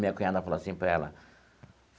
Minha cunhada falou assim para ela.